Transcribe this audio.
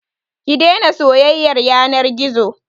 Ki daina soyayyar yanar gizo.